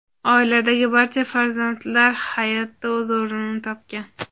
Oiladagi barcha farzandlar hayotda o‘z o‘rnini topgan.